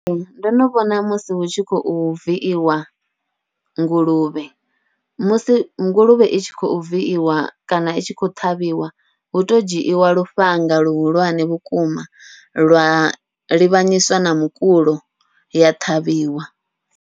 Ee, ndo no vhona musi hu tshi khou viiwa nguluvhe musi nguluvhe i tshi khou viiwa kana i tshi khou ṱhavhiwa hu to dzhiiwa lufhanga luhulwane vhukuma, lwa livhanyiswa na mukulo ya ṱhavhiwa.